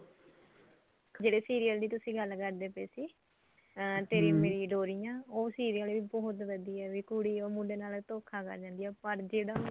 ਜਿਹੜੇ serial ਦੀ ਤੁਸੀਂ ਗੱਲ ਕਰਦੇ ਪਏ ਸੀ ਅਹ ਤੇਰੀ ਮੇਰੀ ਡੋਰੀਆਂ ਉਹ serial ਵੀ ਬਹੁਤ ਵਧੀਆ ਐ ਵੀ ਕੁੜੀ ਉਹ ਮੁੰਡੇ ਨਾਲ ਧੋਖਾ ਕਰ ਜਾਂਦੀ ਐ ਪਰ ਜਿਹੜਾ ਹੁਣ